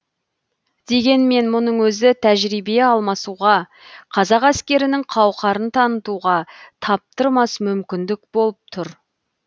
дегенмен мұның өзі тәжірибе алмасуға қазақ әскерінің қауқарын танытуға таптырмас мүмкіндік болып тұр